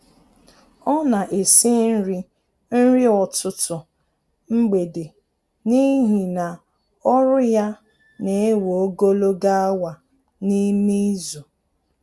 Ọ na esi nri nri ọtụtụ mgbede n'ihi na ọrụ ya na-ewe ogologo awa n'ime izu